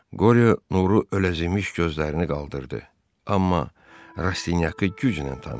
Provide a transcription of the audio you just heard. Qoryo nuru öləzimiş gözlərini qaldırdı, amma Rastinyakı güclə tanıdı.